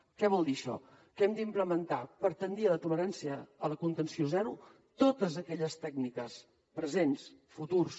què vol dir això que hem d’implementar per tendir a la contenció zero totes aquelles tècniques presents futures